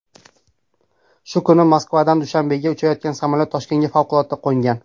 Shu kuni Moskvadan Dushanbega uchayotgan samolyot Toshkentga favqulodda qo‘ngan .